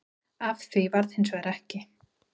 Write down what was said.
Af því varð hins vegar ekki